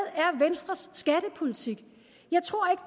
venstres skattepolitik jeg tror